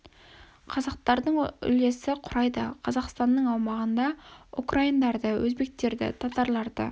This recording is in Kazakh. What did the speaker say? қазақстардың үлесі құрайды қазақстаннның аумағында украиндарды өзбектерді татарларды